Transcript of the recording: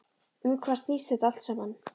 Um hvað snýst þetta allt saman?